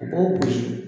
U b'o gosi